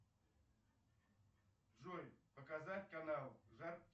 джой показать канал